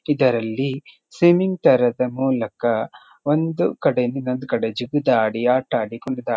ಇದರಲ್ಲಿ ಸ್ವಿಮ್ಮಿಂಗ್ ತರದ ಮೂಲಕ ಒಂದು ಕಡೆಯಿಂದ ಇನ್ನೊಂದು ಕಡೆ ಜಿಗಿದಾಡಿ ಆಟ ಆಡಿಕೊಂಡು.--